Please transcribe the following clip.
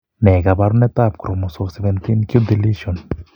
Ne kaabarunetap Chromosome 17q deletion?